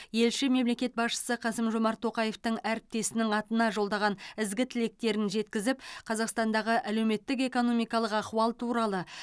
елші мемлекет басшысы қасым жомарт тоқаевтың әріптесінің атына жолдаған ізгі тілектерін жеткізіп қазақстандағы әлеуметтік экономикалық ахуал туралы